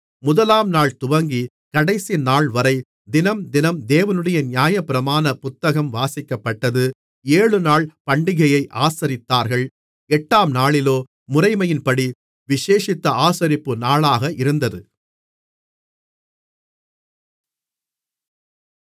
முதலாம் நாள்துவங்கிக் கடைசி நாள்வரை தினம்தினம் தேவனுடைய நியாயப்பிரமாண புத்தகம் வாசிக்கப்பட்டது ஏழுநாள் பண்டிகையை ஆசரித்தார்கள் எட்டாம்நாளிலோ முறையின்படியே விசேஷித்த ஆசரிப்பு நாளாக இருந்தது